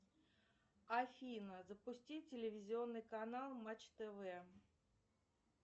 афина запусти телевизионный канал матч тв